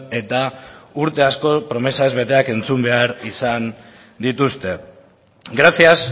eta urte asko promesa ez beteak entzun behar izan dituzte gracias